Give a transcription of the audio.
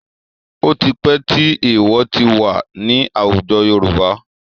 Ó ti pẹ́ tí èèwọ̀ ti wà ní àwùjọ Yorùbá.